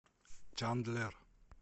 чандлер